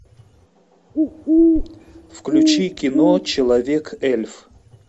включи кино человек эльф